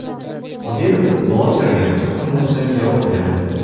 Qodirov blogerga o‘n kundan so‘ng javob berdi.